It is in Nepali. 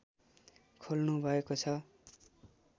खोल्नु भएको छ